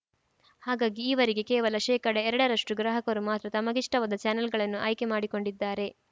ಹಾಗಾಗಿ ಈವರೆಗೆ ಕೇವಲ ಶೇಕಡ ಎರಡರಷ್ಟುಗ್ರಾಹಕರು ಮಾತ್ರ ತಮಗಿಷ್ಟವಾದ ಚಾನೆಲ್‌ಗಳನ್ನು ಆಯ್ಕೆ ಮಾಡಿಕೊಂಡಿದ್ದಾರೆ